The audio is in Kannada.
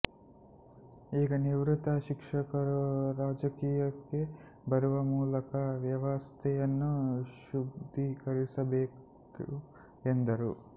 ಈಗ ನಿವೃತ್ತ ಶಿಕ್ಷಕರು ರಾಜಕೀಯಕ್ಕೆ ಬರುವ ಮೂಲಕ ವ್ಯವಸ್ಥೆಯನ್ನು ಶುದ್ಧೀಕರಿಸಬೇಕು ಎಂದರು